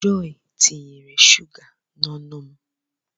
Jọy tinyere shụga n'ọnụ m